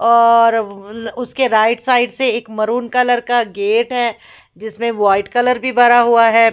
और उज़ उसके राइट साइड से एक मरून कलर का गेट है जिसमें वाइट कलर भी भरा हुआ है।